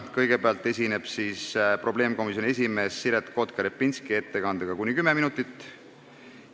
Kõigepealt esineb probleemkomisjoni esimees Siret Kotka-Repinski ettekandega, mis kestab kuni 10 minutit.